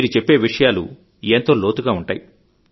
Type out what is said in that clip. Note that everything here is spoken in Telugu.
మీరు చెప్పే విషయాలు ఎంతో లోతుగా ఉంటాయి